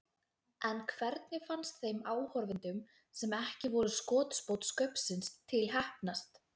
En hvernig fannst þeim áhorfendum sem ekki voru skotspónn Skaupsins til heppnast?